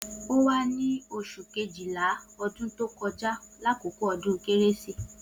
O wa ni osun Kejìlá ọdún tó kọ jà lakoko odun kérésí